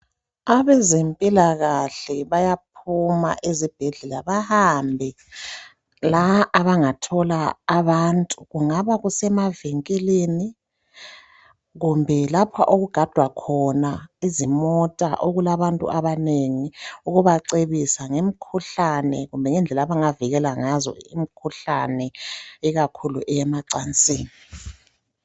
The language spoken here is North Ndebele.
Abezempilakahle bayaphuma ezibhedlela bahambe la abangathola abantu kungaba kusemavinkilini kumbe lapha okugadwa khona izimota okulabantu abanengi ukubacebisa ngemkhuhlane kumbe ngendlela abangavikela ngazo imikhuhlane ikakhulu eyemacansini.